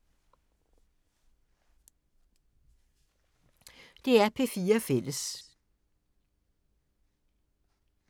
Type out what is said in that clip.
DR P4 Fælles